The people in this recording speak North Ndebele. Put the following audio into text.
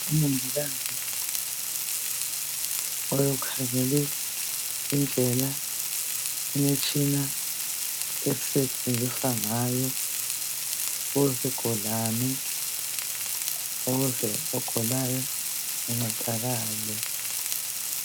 umongikazi ukhangele indlela imitshina esetshenziswa ngayo owesigulane ukuze ogulayo ancedakale